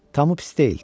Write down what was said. Tamı pis deyil.